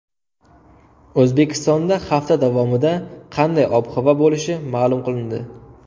O‘zbekistonda hafta davomida qanday ob-havo bo‘lishi ma’lum qilindi.